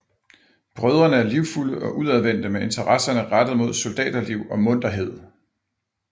Brødrene er livfulde og udadvendte med interesserne rettet mod soldaterliv og munterhed